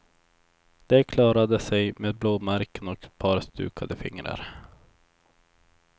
De klarade sig med blåmärken och ett par stukade fingrar.